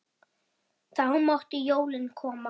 Þá máttu jólin koma.